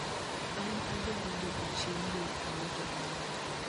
An adwaro dwoko chien yor auja mara